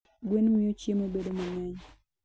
Gwen miyo chiemo bedo mang'eny.